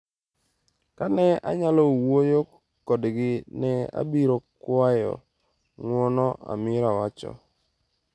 ka ne anyalo wuoyo kodgi, ne abiro kwayo ng’uono’ Amira wacho.